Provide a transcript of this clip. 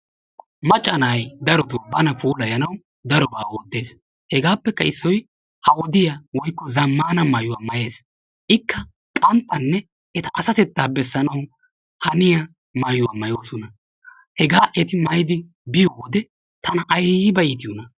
Macca nay darotoo bana puulayanaw darobaa oottees hegappekka issoy ha wodiyaa woykko zammana maayuwa maayees. Ikka qanttanne eta asatettaa bessanaw haniyaa maayuwaa maayoosona. Hega eti maayyidi biyoo wode tana aybba iittiyoona.